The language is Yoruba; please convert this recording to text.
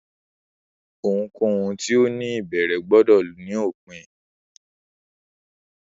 Ohunkohun ti o ni ibẹrẹ gbọdọ ni opin